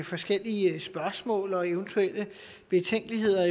forskellige spørgsmål til og eventuelle betænkeligheder